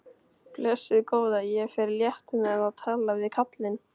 Blessuð góða, ég fer létt með að tala við kallinn.